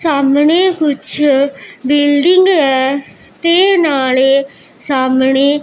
ਸਾਹਮਣੇ ਕੁਛ ਬਿਲਡਿੰਗ ਹੈ ਤੇ ਨਾਲੇ ਸਾਹਮਣੇ--